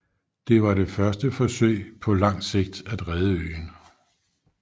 Det var det første forsøg på langt sigt at redde øen